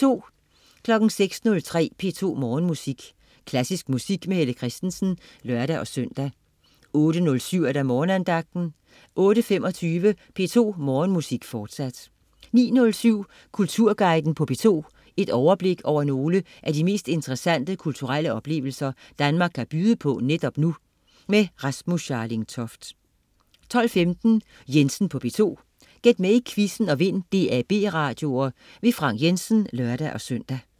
06.03 P2 Morgenmusik. Klassisk musik med Helle Kristensen (lør-søn) 08.07 Morgenandagten 08.25 P2 Morgenmusik, fortsat 09.07 Kulturguiden på P2. Et overblik over nogle af de mest interessante kulturelle oplevelser Danmark kan byde på netop nu. Rasmus Scharling Toft 12.15 Jensen på P2. Gæt med i quizzen og vind DAB-radioer. Frank Jensen (lør-søn)